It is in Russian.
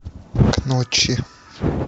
ночи